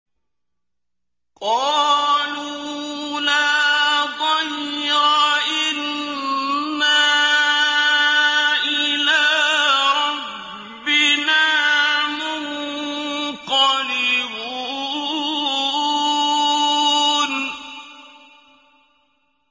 قَالُوا لَا ضَيْرَ ۖ إِنَّا إِلَىٰ رَبِّنَا مُنقَلِبُونَ